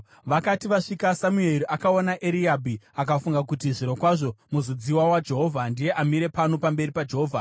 Vakati vasvika, Samueri akaona Eriabhi akafunga kuti, “Zvirokwazvo muzodziwa waJehovha ndiye amire pano pamberi paJehovha.”